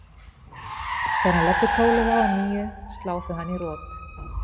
Þegar hann leggur tólið á að nýju slá þau hann í rot.